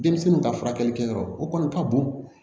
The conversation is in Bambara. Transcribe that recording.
Denmisɛnninw ka furakɛli kɛyɔrɔ o kɔni ka bon